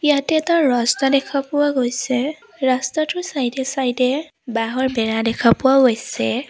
ইয়াতে এটা ৰাস্তা দেখা পোৱা গৈছে ৰাস্তা টোৰ চাইদে এ-চাইদে এ বাঁহৰ বেৰা দেখাপোৱাও গৈছে।